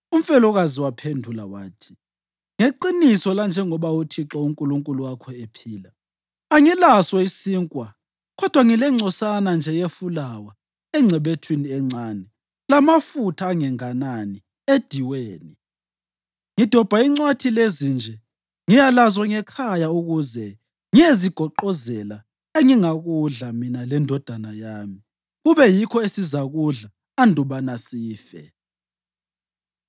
Umfelokazi waphendula wathi, “Ngeqiniso lanjengoba uThixo uNkulunkulu wakho ephila, angilaso isinkwa kodwa ngilengcosana nje yefulawa engcebethwini encane lamafutha angenganani ediweni. Ngidobha incwathi lezi nje ngiya lazo ngekhaya ukuze ngiyezigoqozela engingakudla mina lendodana yami, kube yikho esizakudla andubana sife.”